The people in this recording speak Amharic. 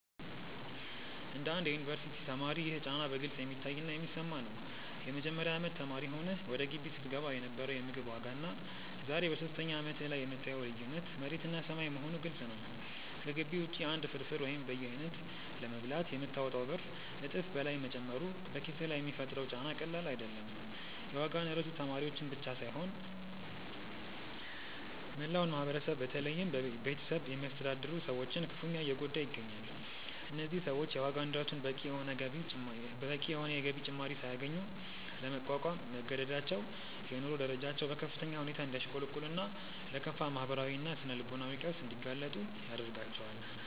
እንደ አንድ የዩኒቨርሲቲ ተማሪ ይህ ጫና በግልጽ የሚታይና የሚሰማ ነው። የመጀመሪያ አመት ተማሪ ሆነህ ወደ ግቢ ስትገባ የነበረው የምግብ ዋጋና ዛሬ በሶስተኛ አመትህ ላይ የምታየው ልዩነት መሬትና ሰማይ መሆኑ ግልጽ ነው። ከግቢ ውጪ አንድ ፍርፍር ወይም በየአይነቱ ለመብላት የምታወጣው ብር እጥፍ በላይ መጨመሩ በኪስህ ላይ የሚፈጥረው ጫና ቀላል አይደለም። የዋጋ ንረቱ ተማሪዎችን ብቻ ሳይሆን መላውን ማህበረሰብ በተለይም ቤተሰብ የሚያስተዳድሩ ሰዎችን ክፉኛ እየጎዳ ይገኛል። እነዚህ ሰዎች የዋጋ ንረቱን በቂ የሆነ የገቢ ጭማሪ ሳያገኙ ለመቋቋም መገደዳቸው የኑሮ ደረጃቸው በከፍተኛ ሁኔታ እንዲያሽቆለቁልና ለከፋ ማህበራዊና ስነ-ልቦናዊ ቀውስ እንዲጋለጡ ያደርጋቸዋል።